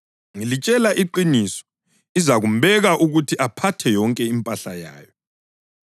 Ngilitshela iqiniso, izakumbeka ukuthi aphathe yonke impahla yayo.